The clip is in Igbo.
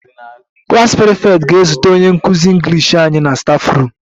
The klas prefect ga-ezute anyị English nkụzi na staffroom